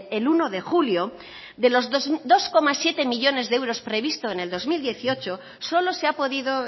el uno de julio de los dos coma siete millónes de euros previsto en el dos mil dieciocho solo se ha podido